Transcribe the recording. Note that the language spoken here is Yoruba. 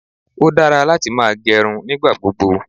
Ó dára láti máa gẹrun nígbà gbogbo.